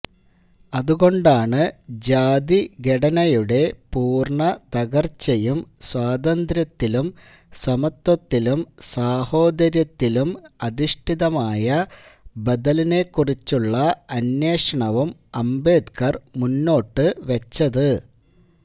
അതുകൊണ്ടാണ് ജാതിഘടനയുടെ പൂര്ണ്ണതകര്ച്ചയും സ്വാതന്ത്ര്യത്തിലും സമത്വത്തിലും സാഹോദര്യത്തിലും അധിഷ്ഠിതമായ ബദലിനെക്കുറിച്ചുള്ള അന്വേഷണവും അംബേദ്കര് മുന്നോട്ടുവെച്ചത്